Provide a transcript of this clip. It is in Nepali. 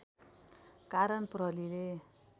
कारण प्रहरीले